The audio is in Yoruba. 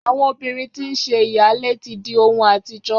Àwọn obìrin tí nṣe ìyáálé ilé tí di ohun àtijọ́